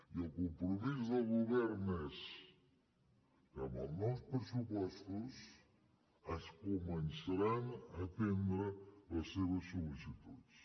i el compromís del govern és que amb els nous pressupostos es començaran a atendre les seves sol·licituds